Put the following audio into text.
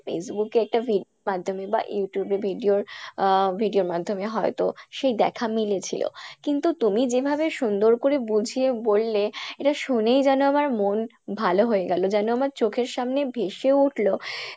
Facebook এ একটা video র মাধ্যমে বা Youtube এ video র আহ video র মাধ্যমে হয়তো সেই দেখা মিলেছিলো কিন্তু তুমি যেভাবে সুন্দর করে বুঝিয়ে বললে এটা শুনেই যেন আমার মন ভালো হয়ে গেল যেন আমার চোখের সামনে ভেসে উঠলো